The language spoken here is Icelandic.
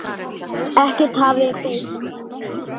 Ekkert hafði bæst við.